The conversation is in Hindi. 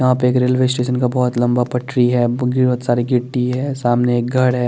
यहा पे एक रेलवे स्टेशन का बोहोत लंबा पटरी है सारी गिट्टी है सामने एक घर है ।